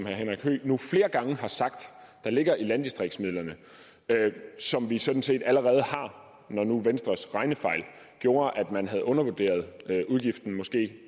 henrik høegh nu flere gange har sagt ligger i landdistriktsmidlerne som vi sådan set allerede har når nu venstres regnefejl gjorde at man havde undervurderet udgiften måske